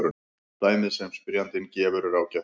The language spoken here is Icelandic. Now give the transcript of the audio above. Dæmið sem spyrjandinn gefur er ágætt.